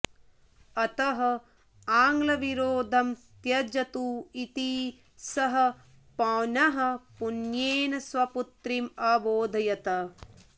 अतः आङ्ग्लविरोधं त्यजतु इति सः पौनःपुन्येन स्वपुत्रीम् अबोधयत्